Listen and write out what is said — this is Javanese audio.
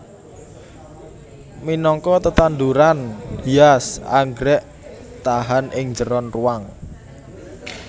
Minangka tetanduran hias anggrèk tahan ing njeron ruwang